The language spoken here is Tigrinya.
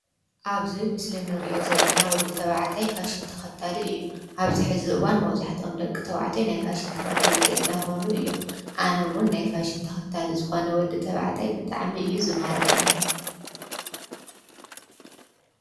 ኣብዚ ምስሊ እንሪኦ ዘለና ወዲ ተባዕታይ ፋሽን ተከታሊ እዩ፡፡ ኣብዚ ሕዚ እዋን መብዛሕቲኦም ደቂ ተባዕትዮ ናይ ፋሽን ተከተልቲ እንዳኮኑ እዮም፡፡ ኣነ እዉን ናይ ፋሽን ተከታሊ ዝኮነ ወዲ ተባዕታይ ብጣዕሚ እዩ ዝማርከኒ፡፡